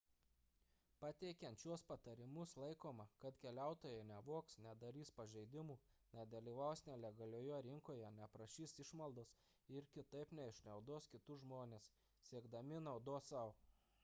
pateikiant šiuos patarimus laikoma kad keliautojai nevogs nedarys pažeidimų nedalyvaus nelegalioje rinkoje neprašys išmaldos ir kitaip neišnaudos kitus žmones siekdami naudos sau